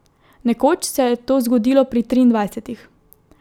Nekoč se je to zgodilo pri triindvajsetih.